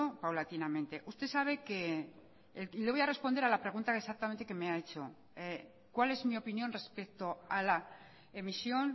paulatinamente usted sabe que le voy a responder a la pregunta exactamente que me ha hecho cuál es mi opinión respecto a la emisión